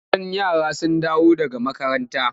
Idan yara sun dawo daga makaranta.